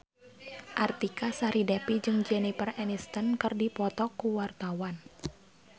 Artika Sari Devi jeung Jennifer Aniston keur dipoto ku wartawan